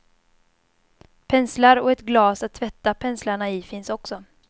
Penslar och ett glas att tvätta penslarna i finns också.